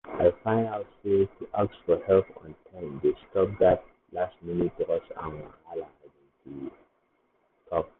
i find out sey to ask for help on time dey stop that last-minute rush and wahala um to um talk.